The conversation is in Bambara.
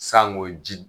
Sanko ji